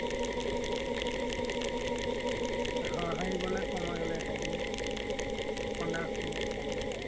হাঁহিবলে সময় হলে হাঁহিম, কন্দা সময়ত কান্দিম।